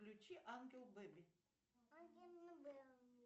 включи ангел бэби